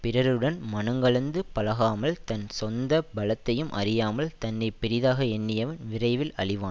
பிறருடன் மனங்கலந்து பழகாமல் தன் சொந்த பலத்தையும் அறியாமல் தன்னை பெரிதாக எண்ணியவன் விரைவில் அழிவான்